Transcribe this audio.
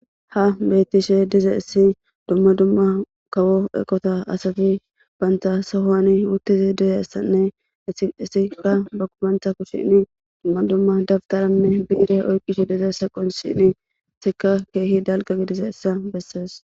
Ha betishe dizayisi duma duma kawo eqota asati banta sohoni utidayisanne etika banta kushen duma duma dabtaranne bire oyiqidayisa qonc'isishin etika kehi dalga gidizayisa besees